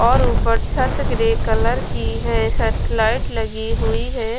और ऊपर छत ग्रे कलर की है सरपे लाइट लगी हुई है।